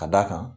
Ka d'a kan